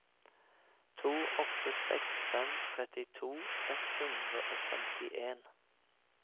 to åtte seks fem trettito ett hundre og femtien